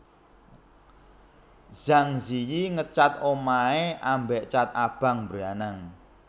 Zhang Ziyi ngecat omahe ambek cat abang mbranang